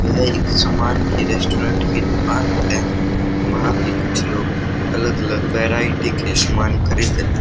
वह एक सामान की रेस्टोरेंट की दुकान है वहां पे कुछ लोग अलग अलग वैरायटी के सामान खरीद र--